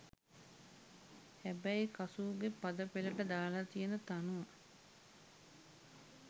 හැබැයි කසූගේ පද පෙලට දාල තියෙන තනුව